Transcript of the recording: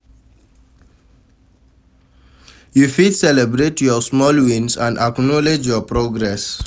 You fit celebrate your small wins and acknowledge your progress.